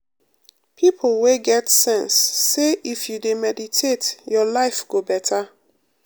people wey get sense say if you dey meditate your life go better